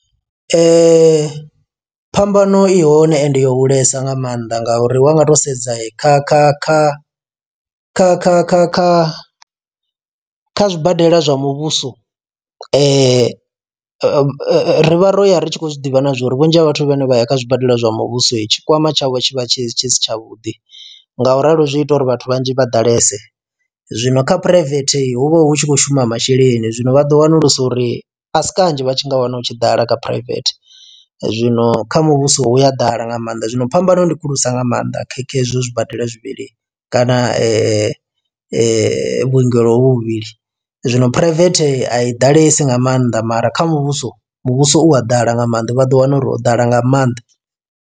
Phambano ihone ende yo hulesa nga maanḓa ngauri wa nga to sedza kha kha kha kha kha kha kha kha zwibadela zwa muvhuso rivha ro ya ri tshi khou zwiḓivha na zwori vhunzhi ha vhathu vhane vha ya kha zwibadela zwa muvhuso tshikwama tshavho tshi vha tshi tshi si tshavhuḓi nga u ralo zwi ita uri vhathu vhanzhi vha ḓalese, zwino kha phuraivethe hu vha hu tshi khou shuma masheleni zwino vha ḓo wanulusa uri asi kanzhi vha tshi nga wana u tshi ḓala kha phuraivethe. Zwino kha muvhuso u a ḓala nga maanḓa zwino phambano ndi khulusa nga maanḓa khekhe hezwo zwibadela zwivhili kana vhuongelo vhuvhili zwino phuraivethe a i ḓalesi nga maanḓa mara kha muvhuso muvhuso u a ḓala nga maanḓa vha ḓo wana uri ho ḓala nga maanḓa.